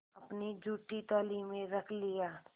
अपनी जूठी थाली में रख लिया